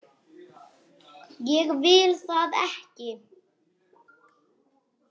Ég vil það ekki.